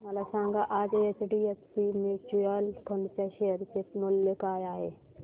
मला सांगा आज एचडीएफसी म्यूचुअल फंड च्या शेअर चे मूल्य काय आहे